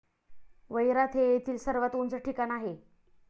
वैरात हे येथील सर्वात उंच ठिकाण आहे.